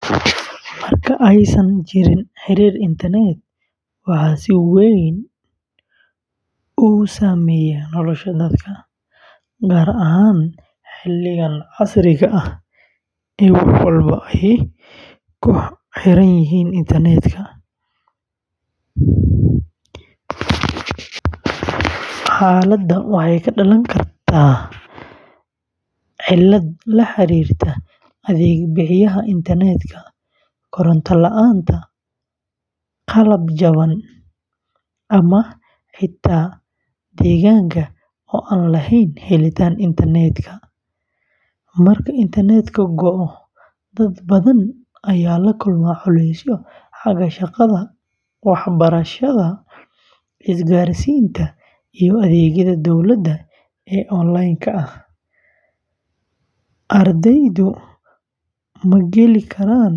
Marka aysan jirin xiriir internetka, waxaa si weyn u saameeyma nolosha dadka, gaar ahaan xilligan casriga ah ee wax walba ay ku xiranyihiin internetka. Xaaladda waxay ka dhalan kartaa cilado la xiriira adeeg bixiyaha internetka, koronto la’aan, qalab jaban, ama xitaa deegaanka oo aan lahayn helitaan internet. Marka internetka go'o, dad badan ayaa la kulma culeysyo xagga shaqada, waxbarashada, isgaarsiinta, iyo adeegyada dowladda ee onlineka ah. Ardaydu ma geli karaan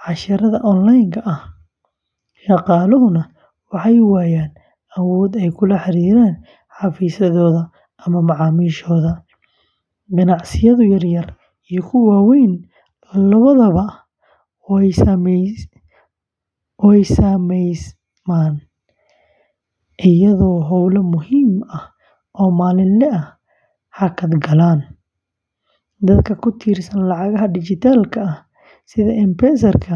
casharrada onlineka ah, shaqaaluhuna waxay waayaan awood ay kula xiriiraan xafiisyadooda ama macaamiisha. Ganacsiyada yaryar iyo kuwa waaweyn labadaba way saameysmaan, iyadoo howlo muhiim ah oo maalinle ah hakad galaan. Dadka ku tiirsan lacagaha dhijitaalka ah sida M-Pesaka.